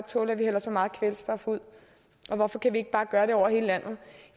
tåle at vi hældte så meget kvælstof ud og hvorfor kan vi ikke bare gøre det over hele landet